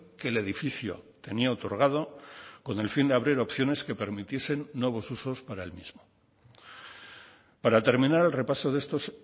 que el edificio tenía otorgado con el fin de abrir opciones que permitiesen nuevos usos para el mismo para terminar el repaso de estos